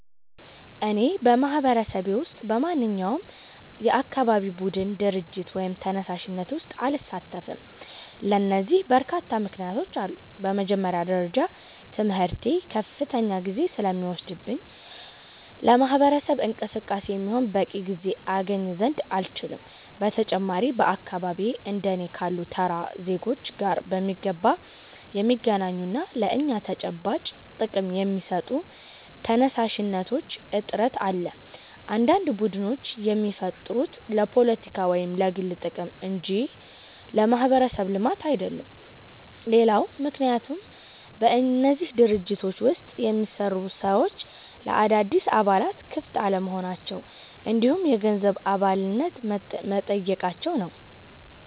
እኔ በማህበረሰቤ ውስጥ በማንኛውም የአካባቢ ቡድን፣ ድርጅት ወይም ተነሳሽነት ውስጥ አልሳተፍም። ለዚህ በርካታ ምክንያቶች አሉኝ። በመጀመሪያ ደረጃ ትምህርቴ ከፍተኛ ጊዜ ስለሚወስድብኝ ለማህበረሰብ እንቅስቃሴ የሚሆን በቂ ጊዜ አገኝ ዘንድ አልችልም። በተጨማሪም በአካባቢዬ እንደ እኔ ካሉ ተራ ዜጎች ጋር በሚገባ የሚገናኙና ለእኛ ተጨባጭ ጥቅም የሚሰጡ ተነሳሽነቶች እጥረት አለ፤ አንዳንድ ቡድኖች የሚፈጠሩት ለፖለቲካ ወይም ለግል ጥቅም እንጂ ለማህበረሰብ ልማት አይደለም። ሌላው ምክንያት በእነዚህ ድርጅቶች ውስጥ የሚሰሩ ሰዎች ለአዳዲስ አባላት ክፍት አለመሆናቸው እንዲሁም የገንዘብ አባልነት መጠየቃቸው ነው።